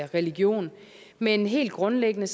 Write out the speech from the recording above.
religion men helt grundlæggende